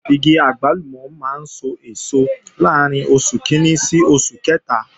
Igi àgbálùmọ̀ máa ń sọ èso láàrín oṣù kìíní sí oṣù kẹta